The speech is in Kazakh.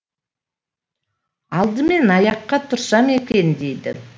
алдымен аяққа тұрсам екен дейді